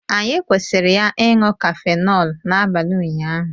Anyị kwụsịrị ya ịṅụ cafenọlu n'abalị ụnyaahụ